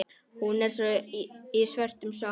Hún er í svörtum sokkum.